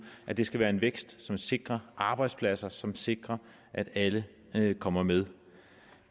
at det skal være en vækst som sikrer arbejdspladser som sikrer at alle kommer med